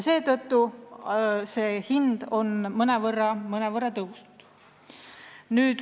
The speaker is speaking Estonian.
Seetõttu on hind mõnevõrra tõusnud.